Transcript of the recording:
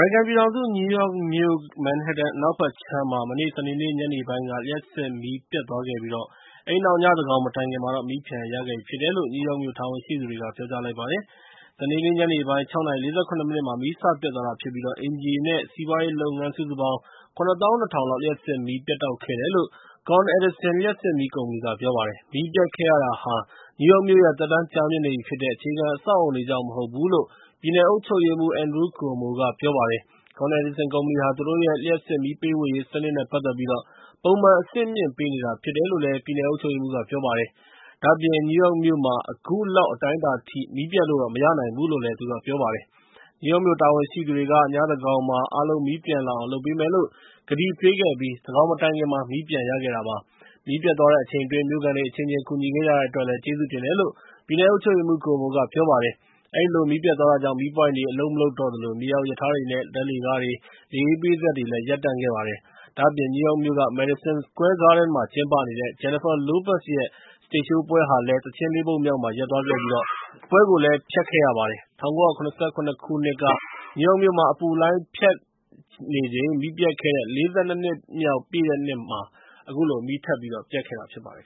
ရိကန်ပြည်ထောင်စု နယူးယောက်မြို့Manhattan အနောက်ဘက်ခြမ်းမှာ စနေနေ့ ညနေပိုင်းက လျှပ်စစ်မီးပျက်သွားခဲ့ပြီးတဲ့နောက် ညသန်းခေါင်မတိုင်ခင်မှာ မီးပြန်ရသွားပြီဖြစ်တယ်လို့ နယူးယောက်မြို့ တာဝန်ရှိသူတွေက ပြောကြားလိုက်ပါတယ်။ စနေနေ့ညနေပိုင်း ၆ နာရီ ၄၇ မိနစ်မှာ မီးစပျက်သွားတာဖြစ်ပြီး အိမ်ခြေ နဲ့ စီးပွားရေးလုပ်ငန်း စုစုပေါင်း ၇၂၀၀၀ လောက် လျှပ်စစ်မီး ပြတ်တောက်ခဲ့တယ်လို့ Con Edison လျှပ်စစ်မီးကုမ္ပဏီ ပြောပါတယ်။ မီးပျက်ခဲ့ရတာဟာ နယူးယောက်မြို့ရဲ့ သက်တမ်းကြာမြင့်နေပြီဖြစ်တဲ့ အခြေခံအဆောက်အအုံတွေ ကြောင့်မဟုတ်ဘူးလို့ ပြည်နယ်အုပ်ချုပ်ရေးမှူး Andrew Cuomo က ပြောပါတယ်။ Con Edison ကုမ္ပဏီဟာ သူတို့ရဲ့ လျှပ်စစ်မီးပေးဝေရေးစနစ်နဲ့ ပတ်သက်ပြီး ပုံမှန်အဆင့်မြင့်ပေးနေတာဖြစ်တယ်လို့လည်း ပြည်နယ်အုပ်ချုပ်ရေးမှူးက ပြောပါတယ်။ ဒါ့အပြင် နယူးယောက်မြို့မှာ အခုလောက်အတိုင်းအတာအထိ မီးပျက်လို့မရနိုင်ဘူးလို့ ပြောပါတယ်။ နယူးယောက်မြို့တာဝန်ရှိသူတွေက ညသန်းခေါင်းမှာ အားလုံး မီးပြန်လာအောင်လုပ်ပေးမယ်လို့ ကတိပေးခဲ့ပြီး၊ သန်းခေါင်မတိုင်ခင်မှာ မီးပြန်ရခဲ့တာဖြစ်ပါတယ်။ မီးပျက်သွားတဲ့အချိန်အတွင်း မြို့ခံတွေအချင်းချင်း ကူညီကြတဲ့အတွက်လည်း ကျေးဇူးတင်တယ်လို့ မစ္စတာ Cuomo က ပြောပါတယ်။ အဲဒီလိုမီးပျက်သွားတာကြောင့် မီးပွိုင့်တွေလည်း အလုပ်မလုပ်တော့သလို၊ မြေအောက်ရထားတွေ နဲ့ ဓါတ်လှေကားတွေ၊ လေအေးပေးစက်တွေလည်း ရပ်တန့်ခဲ့ပါတယ်။ ဒါ့အပြင် နယူးယောက်မြို့က Madison Square Garden မှာကျင်းပနေတဲ့ Jennifer Lopez ရဲ့ စတိတ်ရှိုးပွဲဟာလည်း သီချင်း ၄ ပုဒ်မြောက်မှာ ရပ်သွားပြီး ပွဲကိုလည်း ဖျက်ခဲ့ရပါတယ်။ ၁၉၇၇ ခုနှစ်က နယူးယောက်မြို့မှာ အပူလှိုင်းဖြတ်နေချိန် မီးပျက်ခဲ့တဲ့ ၄၂ နှစ် ပြည့်မြောက်တဲ့နှစ်မှာ အခုလို မီးထပ်ပျက်တာဖြစ်ပါတယ်